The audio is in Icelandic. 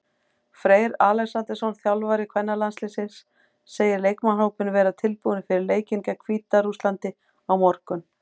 Freyr Alexandersson, þjálfari kvennalandsliðsins, segir leikmannahópinn vera tilbúinn fyrir leikinn gegn Hvíta-Rússlandi á morgun.